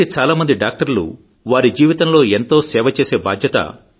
అయితే చాలామంది డాక్టర్లు వారి జీవితంలో ఎంతో సేవ చేసే బాధ్యత